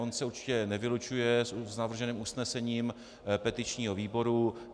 On se určitě nevylučuje s navrženým usnesením petičního výboru.